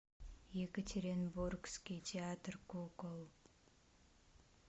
екатеринбургский театр кукол